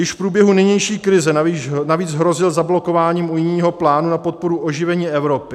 Již v průběhu nynější krize navíc hrozil zablokováním unijního plánu na podporu oživení Evropy.